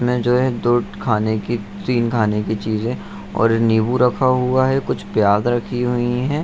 में जो है दो खाने की तीन खाने की चीजें और नींबू रखा हुआ है कुछ प्याज रखी हुई हैं।